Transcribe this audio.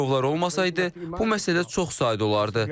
Girovlar olmasaydı, bu məsələ çox sadə olardı.